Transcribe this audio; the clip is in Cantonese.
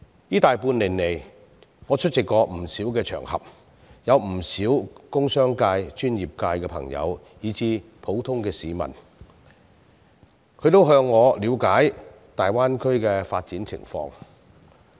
這大半年來，在不少場合曾有不少工商界、專業界的朋友以至普通市民向我了解大灣區的發展情況。